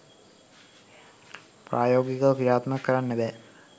ප්‍රායෝගිකව ක්‍රියාත්මක කරන්න බෑ